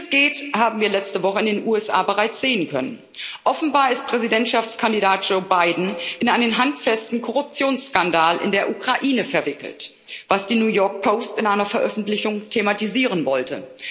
Wie das geht, haben wir letzte Woche in den USA bereits sehen können Offenbar ist Präsidentschaftskandidat Joe Biden in einen handfesten Korruptionsskandal in der Ukraine verwickelt, was die New York Post in einer Veröffentlichung thematisieren wollte.